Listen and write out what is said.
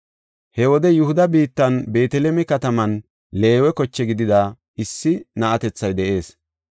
He wode Yihuda biittan Beeteleme kataman Leewe koche gidida issi na7atethay de7ees.